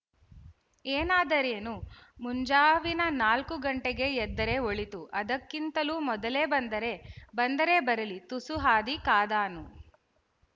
ಏನಾದರೇನು ಮುಂಜಾವಿನ ನಾಲ್ಕು ಗಂಟೆಗೇ ಎದ್ದರೆ ಒಳಿತು ಅದಕ್ಕಿಂತಲೂ ಮೊದಲೇ ಬಂದರೆ ಬಂದರೆ ಬರಲಿ ತುಸು ಹಾದಿ ಕಾದಾನು